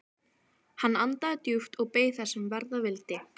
Hann andaði djúpt og beið þess sem verða vildi.